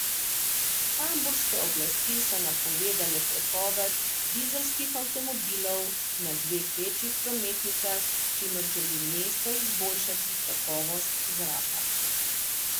Hamburške oblasti so napovedale prepoved dizelskih avtomobilov na dveh večjih prometnicah, s čimer želi mesto izboljšati kakovost zraka.